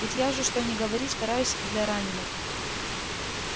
ведь я же что ни говори стараюсь для раненых